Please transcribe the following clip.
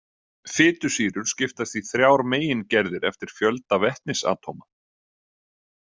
Fitusýrur skiptast í þrjár megingerðir eftir fjölda vetnisatóma.